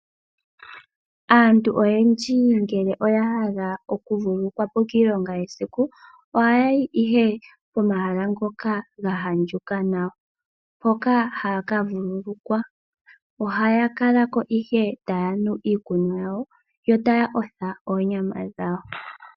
Aantu oyendji ngele oya adha okuvulukwapo kiilongo yesiku, ohayayi ihe komahala ngoka ga andjuka nawa, hoka haya kavululukwa. Ohaya kalako ihe taya nu iikunwa yawo, yo taya otha oonyama dhawo.